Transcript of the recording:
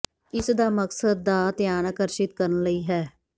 ਇਸ ਦਾ ਮਕਸਦ ਦਾ ਧਿਆਨ ਆਕਰਸ਼ਿਤ ਕਰਨ ਲਈ ਹੈ